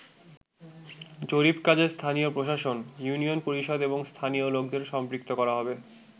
জরিপ কাজে স্থানীয় প্রশাসন, ইউনিয়ন পরিষদ এবং স্থানীয় লোকদের সম্পৃক্ত করা হবে।